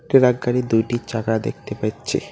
Tractor গাড়ির দুইটি চাকা দেখতে পাচ্চি।